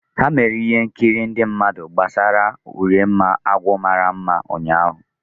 Ha mere ihe nkiri ndị mmadụ gbasara Urenma agwọ mara mma ụnyahụ.